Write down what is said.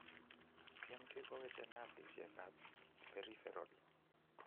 CMT koweche nervisiek ab peripheral